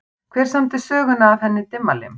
Hver samdi söguna af henni Dimmalimm?